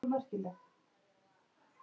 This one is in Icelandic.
Það var dansað og hlegið.